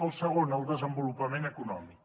el segon el desenvolupament econòmic